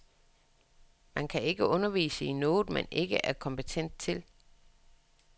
Man kan ikke undervise i noget, man ikke er kompetent til.